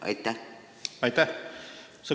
Aitäh!